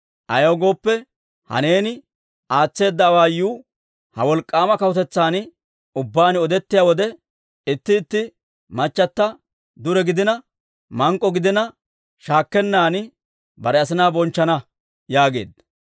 Ayaw gooppe, ha neeni aatseedda awaayuu ha wolk'k'aama kawutetsan ubbaan odettiyaa wode, itti itti machata dure gidina, mank'k'o gidina, shaakkennan bare asinaa bonchchana» yaageedda.